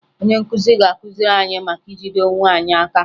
Onye nkụzi ga-akụziri anyị maka ijide onwe anyị aka